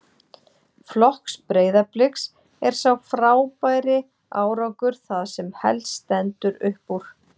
Flokks Breiðabliks er sá frábæri árangur það sem helst stendur upp úr.